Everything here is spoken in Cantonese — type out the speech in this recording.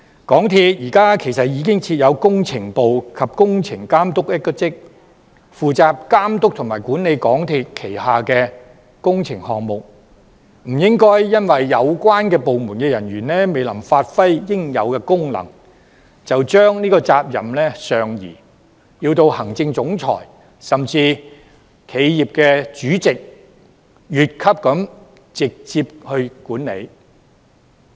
港鐵公司現時已經設有工程部及工程總監一職，負責監督及管理港鐵公司旗下的工程項目，不應該因為有關部門人員未能發揮應有功能，便將責任上移，要求行政總裁甚至企業主席越級直接管理。